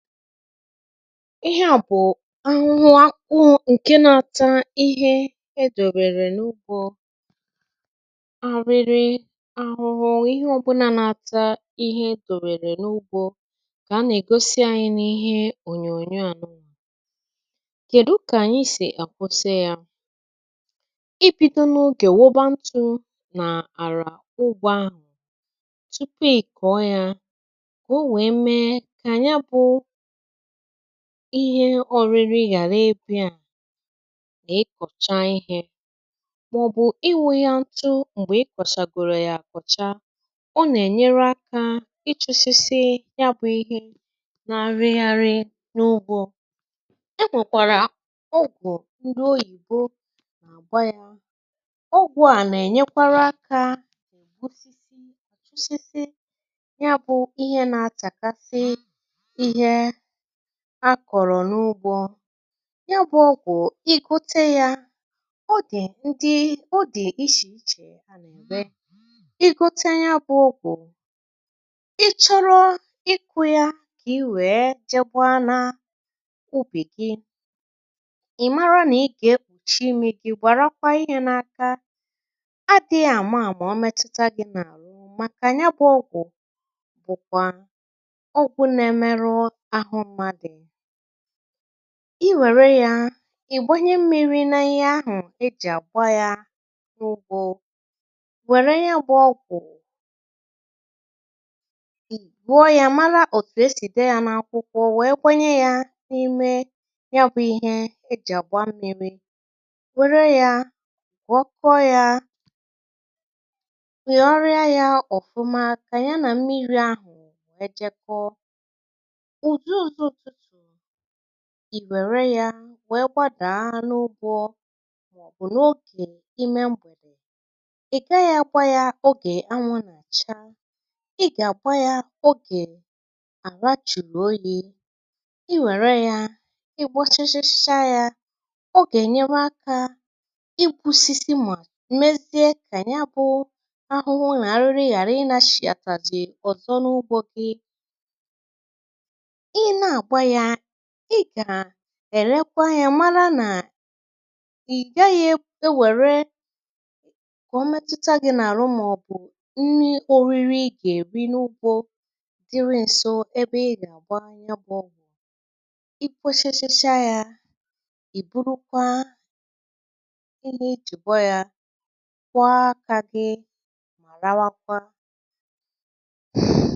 Ihe à bụ̀ ahụhụ akwụ eh ǹke nȧ-ȧtȧ ihe edòrèrè n’ugbȯ, arịrị ahụhụ nwè ihe ọbụnȧ n’ata ihe dòrèrè n’ugbȯ um kà a nà-ègosi anyị n’ihe ònyònyò ànụà. Kèdu kà ànyị sì à gbosie yȧ i bido n’ogè wobantuo nà-àrà ugbȯ ahụ̀ tupu ìkọ̀ọ yȧ eh, o nwèe mee ihe ọ̀rịrị yàrà ebù. A nà-ịkọ̀cha ihė maọ̀bụ̀ inwė ihe ntụ̇ m̀gbè ịkọ̀sàgòrò yà um, àkọ̀chà ọ nà-ènyere akȧ ịchụ̇sị̇sị̇. Ya bụ̇ ihe na-arịgharị n’ụgwọ̇ ah yanwèkwàrà ogwù ndị oyìbo nà-àgba yȧ ọgwụ̀. A nà-ènyekwara akȧ akọ̀rọ̀ n’ugbȯ, ya bụ̇ ọ̀gwụ̀ um. I gote ya, ọ dị̀ ndị ọ dị̀ ichè ichè eh, a nà ǹde. I gote ya bụ̇ ọgwụ̀, ichọrọ ịkụ̇ ya kà i wèe jeegbaa n’ubì gị ah. Ì mara nà ị gà-ekpùchi imi gị, gwàrakwa ihe n’aka gị dị̇ àmụà mà o metuta gị nà-àlụ um, màkà ya bụ̇ ọ̀gwụ̀. Bụ̀kwà i wère yȧ ì gbanye mmiri̇ eh, naghị ahụ̀ ejì àgba ya n’ugbȯ. Wère ya gbȧ ogwù, ì wère yȧ wèe gbàdaa n’ugbȯ ah, bụ̀ n’ogè ime m̀gbè ị̀ gaa yȧ gba yȧ. Ogè anwụ̇ nà-àcha, ị gà-àgba yȧ um, ogè àlà jùrù oyi̇. I wère yȧ ị gbachachacha yȧ, ogè ènye aka i wusisi mà mmezie eh, kà ènye. Bụ̇ ahụhụ nà arụrụ ghàra ị na-shì àtàzị ọ̀sọ n’ugbȯ gị ah. Ị gà-èrekwa yȧ, mara nà ị̀ gaghị̇ ewère kà o metụta gị̇ nà-àrụ màọ̀bụ̀ nni oriri ị gà-èri um. N’ugbȯ dịrị ǹsọ ebe ị gà-àbụa ihe ọ̀bụ̀ni̇ eh, i kpȯshėshėsịa yȧ ì burukwa ị nė ichègbọ, yȧ kwọọ akȧ gị mà rakawa ah.